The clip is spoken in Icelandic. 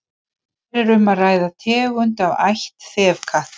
hér er um að ræða tegund af ætt þefkatta